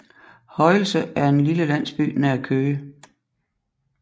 Højelse er en lille landsby nær Køge